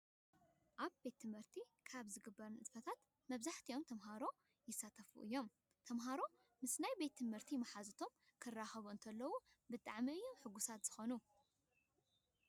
ኣብ ቤት ትምህርቲ ካብ ዝግበሩ ንጥፈታት መብዛሕቲኦም ተምሃሮ ይሳተፉ እዮም። ተምሃሮ ምስ ናይ ቤት ትምህርቲ መሓዝቶም ክራኸቡ እንተኸለው ብጣምዕሚ እዮም ሕጉሳት ዝኾኑ።